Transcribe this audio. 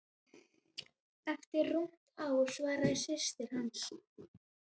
Eftir rúmt ár, svaraði systir hans.